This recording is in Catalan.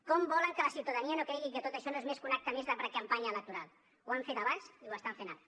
com volen que la ciutadania no cregui que tot això és un acte més de precampanya electoral ho han fet abans i ho estan fent ara